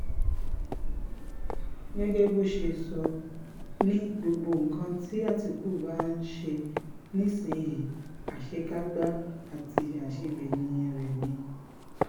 gẹ́gẹ́ bó ṣe sọ ọ́ ni gbogbo nǹkan tí àtìkù bá ń ṣe nísìnyìí àṣekágbá àti àṣegbẹ̀yìn ẹ̀ ni